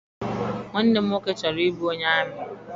Nwanne m nwoke chọrọ I bụ onye amị.